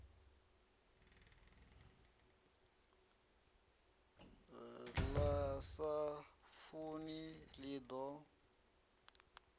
ḽi sa funi ḽi ḓo